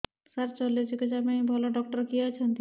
ସାର ଶଲ୍ୟଚିକିତ୍ସା ପାଇଁ ଭଲ ଡକ୍ଟର କିଏ ଅଛନ୍ତି